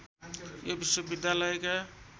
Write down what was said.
यो विश्वविद्यालयका